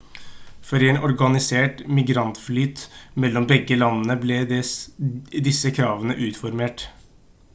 for å gi en organisert migrantflyt mellom begge landene ble disse kravene utformet